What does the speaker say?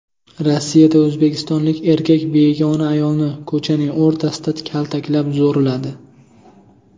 Rossiyada o‘zbekistonlik erkak begona ayolni ko‘chaning o‘rtasida kaltaklab, zo‘rladi.